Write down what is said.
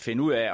finde ud af